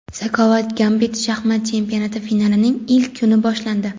"Zakovat-Gambit" shaxmat chempionati finalining ilk kuni boshlandi.